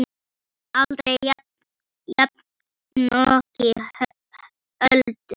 Aldrei jafnoki Öldu.